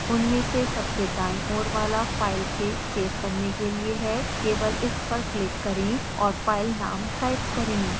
उनमें से सबसे दायीं ओर वाला फाइल के सेव करने के लिए है केवल इस पर क्लिक करें और फाइल नाम टाइप करें